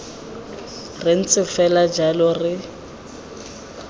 re ntse fela jalo re